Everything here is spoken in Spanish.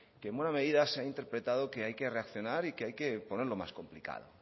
que en buena medida se han interpretado que hay que reaccionar y que hay que ponerlo más complicado